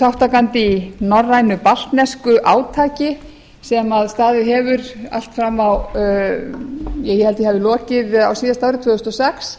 þátttakandi í norrænu baltnesku átaki sem staðið hefur allt fram á ja ég held að því hafi lokið á síðasta ári tvö þúsund og sex